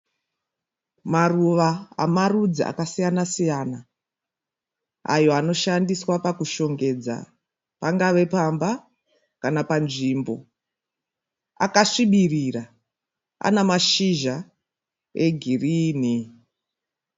Maruva amarudzi akasiyanasiyana ayo anoshandiswa pakushongedza pangave pamba kana panzvimbo akasvibirira ane mashizha egirini.